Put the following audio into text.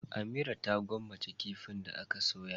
Amira ta gwammace kifin da ake soya.